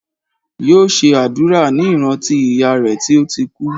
Yóò ṣe àdúrà ní ìrántí ìyá rè tí ó ti kú